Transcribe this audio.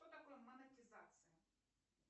что такое монетизация